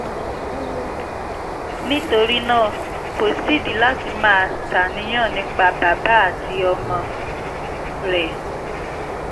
nítorí náà kò sídìí láti máa ṣàníyàn nípa bàbá àti ọmọ rẹ